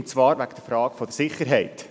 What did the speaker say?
Es ging um die Frage der Sicherheit.